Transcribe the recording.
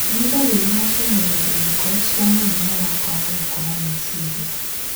Nĩ ndariri na cionereria irĩkũ cia mũrimũ wa kwaga gũkũra kwa meciria